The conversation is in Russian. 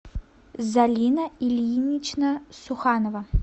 залина ильинична суханова